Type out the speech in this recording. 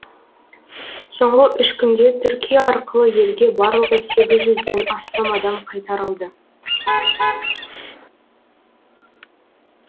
соңғы үш күнде түркия арқылы елге барлығы сегіз жүзден астам адам қайтарылды